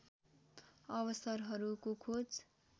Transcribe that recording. अवसरहरूको खोज